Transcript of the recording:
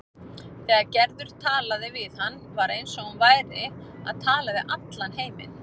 Þegar Gerður talaði við hann var eins og hún væri að tala við allan heiminn.